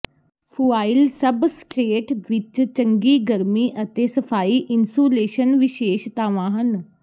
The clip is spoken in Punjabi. ਫੁਆਇਲ ਸਬਸਟਰੇਟ ਵਿੱਚ ਚੰਗੀ ਗਰਮੀ ਅਤੇ ਸਫਾਈ ਇਨਸੂਲੇਸ਼ਨ ਵਿਸ਼ੇਸ਼ਤਾਵਾਂ ਹਨ